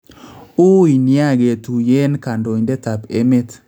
Uuy nya ketuyeen kandoindetab emet